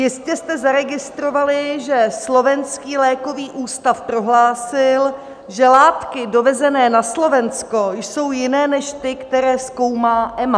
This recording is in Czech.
Jistě jste zaregistrovali, že Slovenský lékový ústav prohlásil, že látky dovezené na Slovensko jsou jiné než ty, které zkoumá EMA.